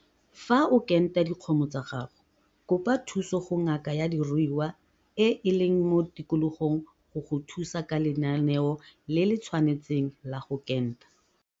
Fa o kenta dikgomo tsa gago, kopa thuso go ngaka ya diruiwa e e leng mo tikologong go go thusa ka lenaneo le le tshwanetseng la go kenta.